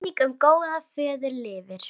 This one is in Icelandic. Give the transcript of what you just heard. Minning um góðan föður lifir.